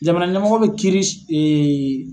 Jamana ɲɛmɔgɔ bɛ kiiri